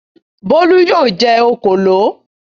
Bólú yóò jẹ òkòló.